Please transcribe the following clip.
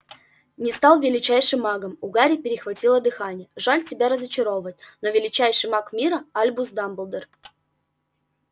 не стал величайшим магом у гарри перехватило дыхание жаль тебя разочаровывать но величайший маг мира альбус дамблдор